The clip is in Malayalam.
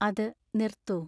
അത് നിർത്തൂ